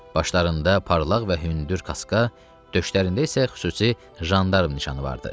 Başlarında parlaq və hündür kaska, döşlərində isə xüsusi jandarm nişanı vardı.